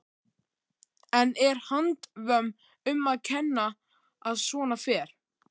En er handvömm um að kenna að svona fer?